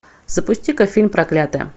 запусти ка фильм проклятая